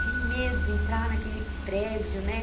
Que medo entrar naquele prédio, né?